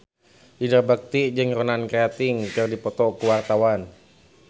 Indra Bekti jeung Ronan Keating keur dipoto ku wartawan